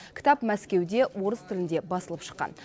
кітап мәскеуде орыс тілінде басылып шыққан